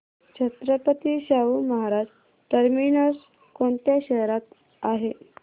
Chhatrapati Shahu Maharaj terminus कोणत्या शहरात आहे